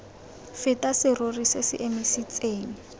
feta serori se se emisitseng